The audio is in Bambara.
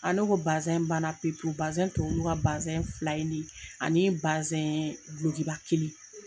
Ne ko ban na pewu pewu tɔ ye olu ka fila in ne ani gulokiba kelen.